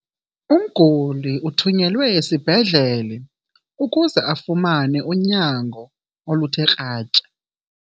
Umguli uthunyelwe esibhedlele ukuze afumane unyango oluthe kratya.